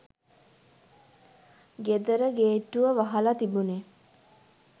ගෙදර ගේට්ටුව වහලා තිබුනේ.